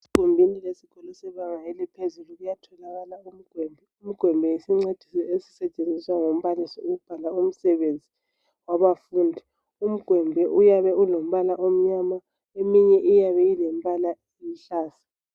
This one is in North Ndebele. Egumbini lesikolo sebanga eliphezulu kuyatholakala umgwembe ,umgwembe yisincediso esisetshenziswa ngumbalisi ukubhala umsebenzi wabafundi . Umgwembe uyabe ulombala omnyama eminye iyabe ilembala eluhlaza.